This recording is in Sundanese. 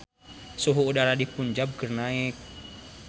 Suhu udara di Punjab keur naek